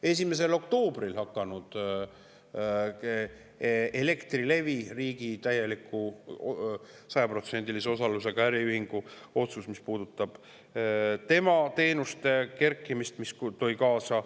1. oktoobril Elektrilevi, riigi täieliku, 100%‑lise osalusega äriühingu otsus, mis puudutab tema teenuste kerkimist.